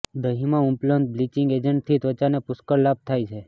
દહીંમાં ઉપલબ્ધ બ્લીચિંગ એજન્ટથી ત્વચાને પુષ્ળક લાભ થાય છે